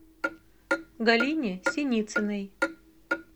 галине синицыной